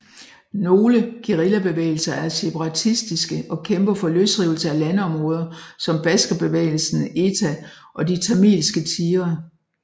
Nogle guerillabevægelser er separatistiske og kæmper for løsrivelse af landområder som Baskerbevægelsen ETA og De Tamilske Tigre